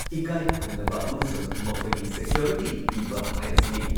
ꯏꯀꯥꯏ ꯈꯨꯝꯅꯕ ꯑꯃꯁꯨꯡ ꯃꯈꯣꯏꯒꯤ ꯁꯦꯀ꯭ꯌꯣꯔꯤꯇꯤ ꯄꯤꯕ ꯍꯥꯏꯕꯁꯤꯅꯤ꯫